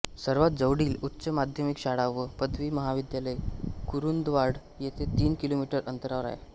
सर्वात जवळील उच्च माध्यमिक शाळा व पदवी महाविद्यालय कुरुंदवाड येथे तीन किलोमीटर अंतरावर आहे